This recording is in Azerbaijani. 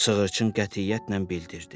Sığırçın qətiyyətlə bildirdi.